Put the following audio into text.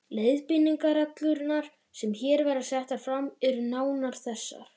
Leiðbeiningarreglurnar, sem hér verða settar fram, eru nánar þessar